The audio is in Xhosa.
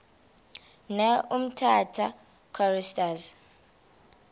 ne umtata choristers